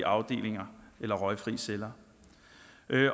afdelinger eller røgfrie celler